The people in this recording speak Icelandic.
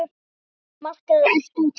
Jóhanna Margrét: Ertu að tapa?